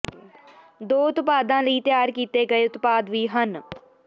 ਦੋ ਉਤਪਾਦਾਂ ਲਈ ਤਿਆਰ ਕੀਤੇ ਗਏ ਉਤਪਾਦ ਵੀ ਹਨ